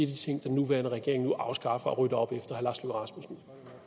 de ting den nuværende regering nu afskaffer og rydder op i